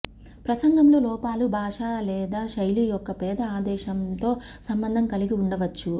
ప్రసంగంలో లోపాలు భాష లేదా శైలి యొక్క పేద ఆదేశంతో సంబంధం కలిగి ఉండవచ్చు